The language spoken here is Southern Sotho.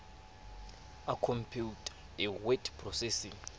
a khompeuta a word processing